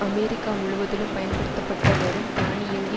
America முழுவதிலும் பயன்படுத்தப்பட்ட வரும் தானியங்கி